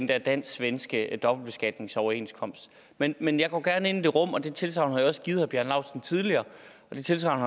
den dansk svenske dobbeltbeskatningsoverenskomst men men jeg går gerne ind i det rum og det tilsagn har jeg også givet herre bjarne laustsen tidligere og det tilsagn